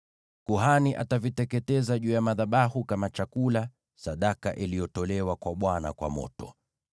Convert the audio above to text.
Kuhani ataviteketeza juu ya madhabahu kama chakula, sadaka iliyotolewa kwa Bwana kwa moto.